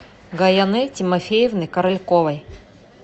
гаянэ тимофеевны корольковой